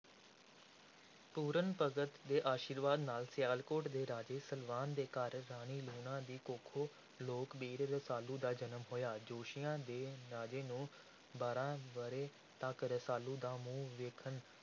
ਪੂਰਨ ਭਗਤ ਦੇ ਆਸ਼ੀਰਵਾਦ ਦੇ ਨਾਲ ਸਿਆਲਕੋਟ ਦੇ ਰਾਜੇ ਸਲਵਾਨ ਦੇ ਘਰ ਰਾਣੀ ਲੂਣਾ ਦੀ ਕੁੱਖੋਂ ਲੋਕ ਵੀਰ ਰਸਾਲੂ ਦਾ ਜਨਮ ਹੋਇਆ, ਜੋਤਸ਼ੀਆਂ ਨੇ ਰਾਜੇ ਨੂੰ ਬਾਰ੍ਹਾਂ ਵਰ੍ਹੇ ਤੱਕ ਰਸਾਲੂ ਦਾ ਮੂੰਹ ਵੇਖਣਾ